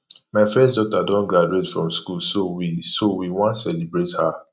my first daughter don graduate from school so we so we wan celebrate her